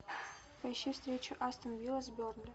поищи встречу астон вилла с бернли